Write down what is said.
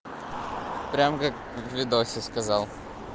прямо как в видосе сказал